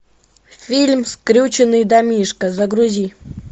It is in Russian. фильм скрюченный домишко загрузи